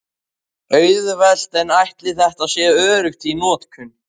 Auðvelt en ætli þetta sé öruggt í notkun?